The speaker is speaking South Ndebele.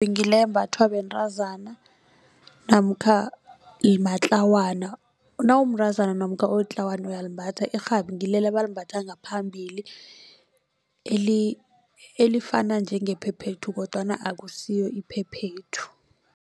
Ngile embathwa bentazana namkha matlawana nawumntazana namkha ulitlawana uyalimbatha irhabi ngilela abalimbatha ngaphambili elifana njengephephethu kodwana akusiyo iphephethu.